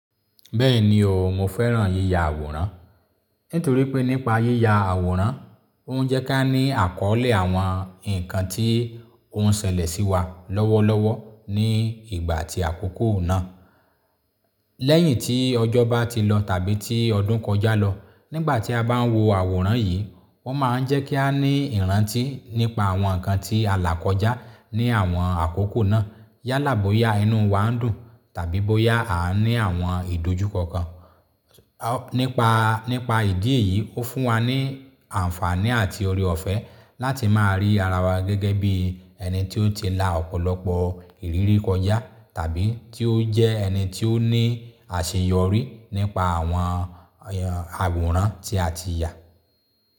Bẹ́ẹ̀ni o, mo fẹ́ràn yíya àwòrán. Nítorí pé nípa yíya àwòrán, ó ń jẹ́ kí a ní àkọ́ọ̀lẹ̀ àwọn ǹkan tí ó ń ṣẹlẹ̀ sí wa lọ́wọ́lọ́wọ́ ní ìgbà tí àkókò náà. Lẹ́yìn tí ọjọ́ bá ti lọ tàbí tí ọdún kọjá lọ, nígbà tí a bá ń wo àwòrán yìí, o máa ń jẹ́ kí á ní ìrántí nípa àwọn ǹkan tí alà kọjá ní àwọn àkókò náà. Yálà bóyá inú wa ń dùn tàbí bóyá a ní àwọn ìdojúkọ kan. Nípa, nípa ìdí èyí, ó fún wa ní àǹfààní àti oore ọ̀fẹ́ láti máa rí ara wa gẹ́gẹ́ bí ẹni tí ó ti la ọ̀pọ̀lọpọ̀ ìrírí kọjá tàbí tí ó jẹ́ ẹni tí ó ní àṣeyọrí nípa àwọn àwòrán tí a ti yà.